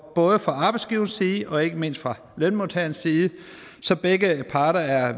både fra arbejdsgiverside og ikke mindst fra lønmodtagerside så begge parter er